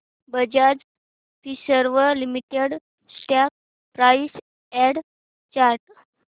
Bajaj Finserv limited stock price and chart